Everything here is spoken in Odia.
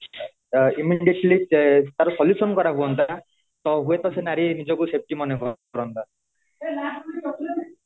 immediately ୟାର solution କରା ହୁଅନ୍ତା ତ ହୁଏ ତ ସେ ନାରୀ ନିଜ କୁ safety ମନେ କରନ୍ତା